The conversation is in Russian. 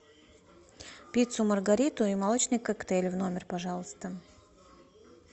пиццу маргариту и молочный коктейль в номер пожалуйста